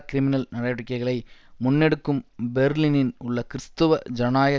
criminal நடவடிக்கைகளை முன்னெடுக்கும் பெர்லினின் உள்ள கிறிஸ்தவ ஜனநாயக